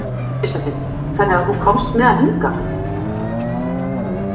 Elísabet: Þannig að þú komst með hann hingað?